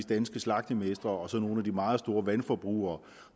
danske slagtermestre og så nogle af de meget store vandforbrugere